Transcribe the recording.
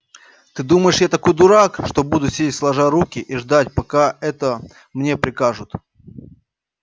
ты думаешь я такой дурак что буду сидеть сложа руки и ждать пока это мне прикажут